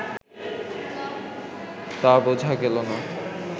তা বোঝা গেল না